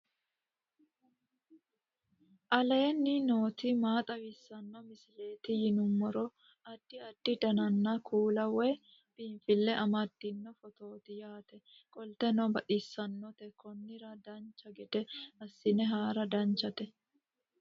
aleenni nooti maa xawisanno misileeti yinummoro addi addi dananna kuula woy biinsille amaddino footooti yaate qoltenno baxissannote konnira dancha gede assine haara danchate